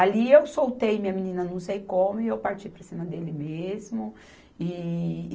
Ali eu soltei minha menina não sei como e eu parti para cima dele mesmo. E